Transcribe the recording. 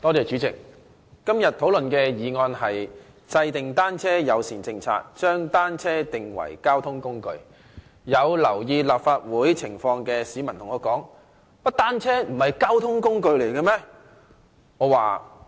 主席，今天討論的議案是"制訂單車友善政策，將單車定為交通運輸工具"，有留意立法會情況的市民便問我：原來單車不是交通工具嗎？